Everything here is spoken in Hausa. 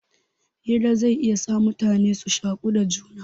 Hira zai iya sa mutane su shaku da juna.